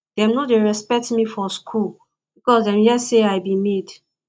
dem no dey respect me for skool because dem hear sey i be maid